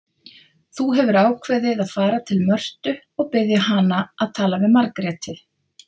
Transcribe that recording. Þú hefur ákveðið að fara til Mörtu og biðja hana að tala við Margréti.